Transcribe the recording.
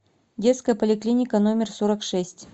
детская поликлиника номер сорок шесть